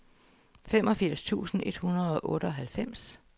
femogfirs tusind et hundrede og otteoghalvfems